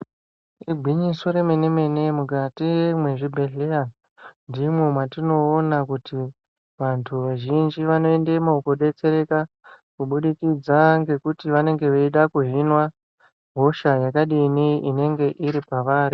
Igwinyiso remene mene mukati mezvibhedhlera ndimo matinoona kuti vantu vazhinji vanoendamo kudetsereka kubudikidza ngekuti vanenge veida kuhinwa hosha yakadini inenge iri paavari.